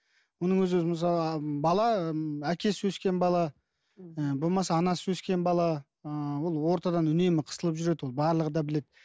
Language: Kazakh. мұның өзі мысалы бала әкесіз өскен бала ы болмаса анасыз өскен бала ыыы ол ортадан үнемі қысылып жүреді ол барлығы да біледі